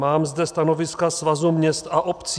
Mám zde stanoviska Svazu měst a obcí.